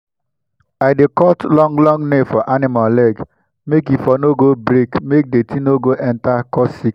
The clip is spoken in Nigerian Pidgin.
i dey cut long long nail for animal leg make e for no go break make dirty no go enter cause sickness